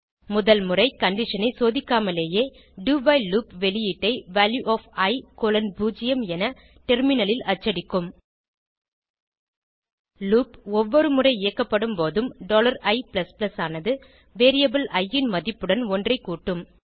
முதல்முறை conditionஐ சோதிக்காமலேயே do வைல் லூப் வெளியீட்டை வால்யூ ஒஃப் இ கோலோன் 0 என டெர்மினலில் அச்சடிக்கும் லூப் ஒவ்வொரு முறை இயக்கப்படும்போதும் i ஆனது வேரியபிள் இ ன் மதிப்புடன் ஒன்றைக் கூட்டும்